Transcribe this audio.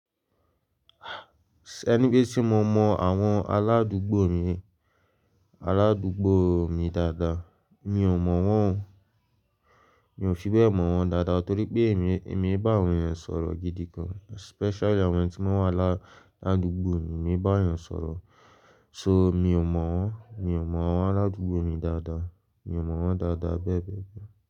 Ẹni pé tí mo mọ àwọn aládùugbò mi, aládúugbò mi dáadáa, mi ò mọ̀ wọ́n, mi ò fi bẹ́ẹ̀ mọ̀ wọ́n dáadáa torí pé èmi, èmi bá àwọn ènìyàn sọ̀rọ̀ gidi gan. Especially àwọn tí wọ́n wa, ládùúgbò mi, èmi bá àwọn ènìyàn sọ̀rọ̀. So, mi ò mọ̀ wọ́n, mi ò mọ àwọn aládùúgbò mi dáadáa. Mi ò mọ̀ wọ́n dáadáa bẹ́ẹ̀ bẹ́ẹ̀ bẹ́ẹ̀.